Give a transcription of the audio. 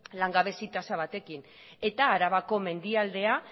langabezi tasa batekin eta arabako mendialdea